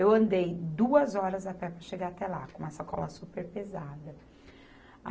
Eu andei duas horas a pé para chegar até lá, com uma sacola super pesada.